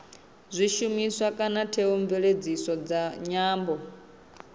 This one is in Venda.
zwishumiswa kana theomveledziso dza nyambo